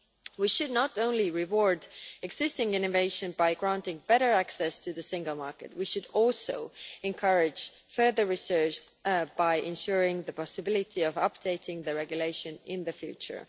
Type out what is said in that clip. We should not only reward existing animation by granting better access to the single market, we should also encourage further research by ensuring the possibility of updating the regulation in the future.